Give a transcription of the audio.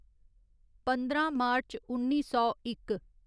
पंदरां मार्च उन्नी सौ इक